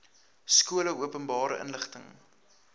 skole openbare inligting